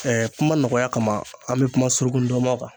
Ɛɛ kuma nɔgɔya kama an be kuma suruku ndɔmɔn kan